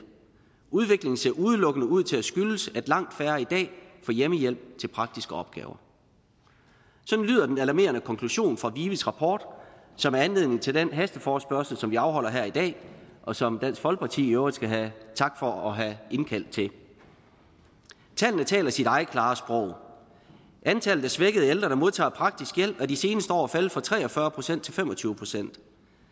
udviklingen ser udelukkende ud til at skyldes at langt færre i dag får hjemmehjælp til praktiske opgaver sådan lyder den alarmerende konklusion fra vives rapport som er anledning til den hasteforespørgsel som vi afholder her i dag og som dansk folkeparti i øvrigt skal have tak for at have indkaldt til tallene taler sit eget klare sprog antallet af svækkede ældre der modtager praktisk hjælp er de seneste år faldet fra tre og fyrre procent til fem og tyve procent